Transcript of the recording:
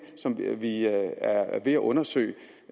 som vi er ved at at undersøge